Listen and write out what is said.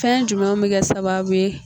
Fɛn jumɛnw mi kɛ sababu ye